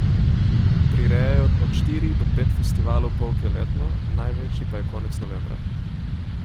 Prirejajo od štiri do pet festivalov polke letno, največji pa je konec novembra.